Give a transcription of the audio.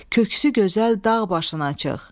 Köksü gözəl dağ başına çıx.